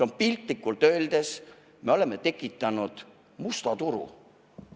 Oleme piltlikult öeldes tekitanud musta turu.